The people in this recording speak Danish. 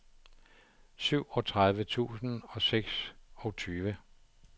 syvogtredive tusind og seksogtyve